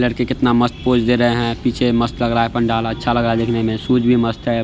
लड़की कितना मस्त पोज़ दे रहे है पीछे मस्त लग रहा है पन्डाला अच्छा लग रहा है शूज भी मस्त है।